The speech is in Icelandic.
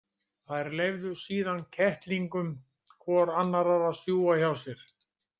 Þær leyfðu síðan kettlingum hvor annarrar að sjúga hjá sér.